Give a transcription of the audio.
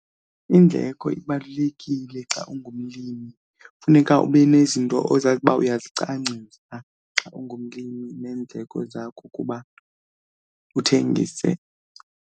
Indleko ibalulekile xa ungumlimi, funeka ube nezinto ozazi uba uyazicwangcisa xa ungumlimi neendleko zakho ukuba uthengise.